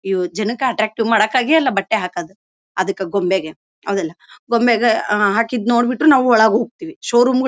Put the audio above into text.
ಜನಕ attractive ಮಾಡಕ್ಕಾಗಿ ಅಲ್ಲಾ ಬಟ್ಟೆ ಹಾಕೋದ್ ಅದಕ್ಕೆ ಗೊಬ್ಬೆಗೆ ಹೌದಲ್ಲ ಗೊಂಬೆಗೆ ಹಾಕಿದ್ ನೋಡಬಿಟ್ಟರೆ ನಾವು ಒಳಗ್ ಹೋಗತ್ತೀವಿ ಶೋ ರೂಮ್ --